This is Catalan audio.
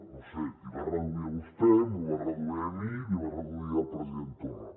no ho sé l’hi va reduir a vostè me’l va reduir a mi l’hi va reduir al president torra